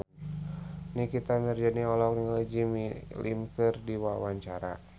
Nikita Mirzani olohok ningali Jimmy Lin keur diwawancara